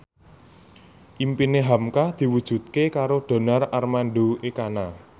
impine hamka diwujudke karo Donar Armando Ekana